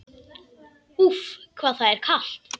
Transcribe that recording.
Úff, hvað það er kalt!